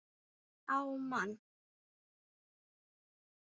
Á mann.